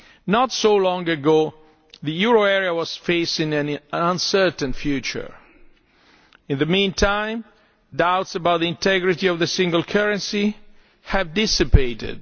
Not so long ago, the euro area was facing an uncertain future. In the meantime, doubts about the integrity of the single currency have dissipated.